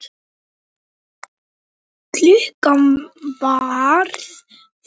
Þetta er mjög áleitið verk.